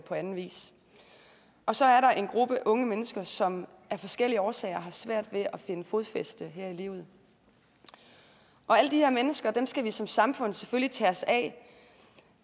på anden vis og så er der en gruppe unge mennesker som af forskellige årsager har svært ved at finde fodfæste her i livet alle de her mennesker skal vi som samfund selvfølgelig tage os af